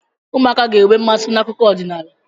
Ụmụaka ga-enwe nmasị n'akụkọ ọdịnala.